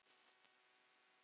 Hvers lags fólk er þetta?